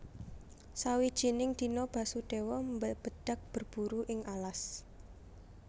Sawijining dina Basudéwa mbebedhag berburu ing alas